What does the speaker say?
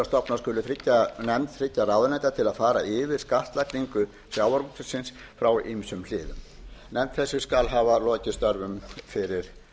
stofna skuli nefnd þriggja ráðuneyta til að fara yfir skattlagningu sjávarútvegsins frá ýmsum hliðum nefnd þessi skal hafa lokið störfum fyrir